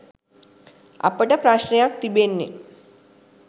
අපට ප්‍රශ්නයක් තිබෙන්නේ.